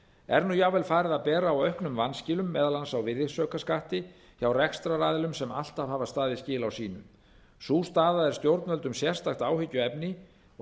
er nú jafnvel farið að bera á auknum vanskilum meðal annars á virðisaukaskatti hjá rekstraraðilum sem alltaf hafa staðið skil á sínu sú staða er stjórnvöldum sérstakt áhyggjuefni og